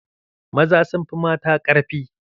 Maza sun fi mata ƙarfi.